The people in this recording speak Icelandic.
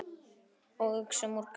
Og uxum úr grasi.